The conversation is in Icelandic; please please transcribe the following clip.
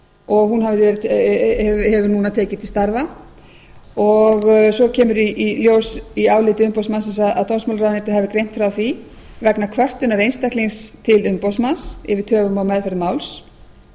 og hún hefur núna tekið til starfa og svo kemur í ljós í áliti umboðsmannsins að dómsmálaráðuneytið hafi greint frá því vegna kvörtunar einstaklings til umboðsmanns yfir töfum á meðferð máls